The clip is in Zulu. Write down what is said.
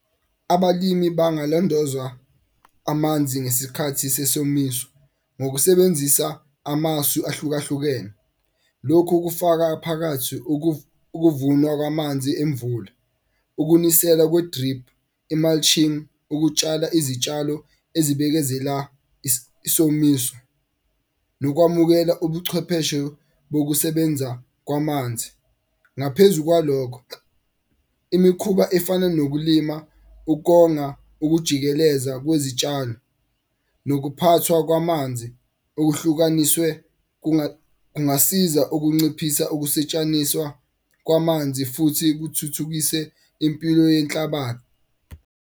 Abalimi bangalondozwa amanzi ngesikhathi sesomiso ngokusebenzisa amasu ahlukahlukene. Lokho kufaka phakathi ukuvunwa kwamanzi emvula. Ukunisela kwe-drip, i-mulching, ukutshala izitshalo ezibikezela isomiso nokwamukela ubuchwepheshe bokusebenza kwamanzi. Ngaphezu kwalokho imikhuba efana nokulima, ukonga ukujikeleza kwezitshalo nokuphathwa kwamanzi okuhlukaniswe kungasiza ukunciphisa ukusetshaniswa kwamanzi futhi kuthuthukise impilo .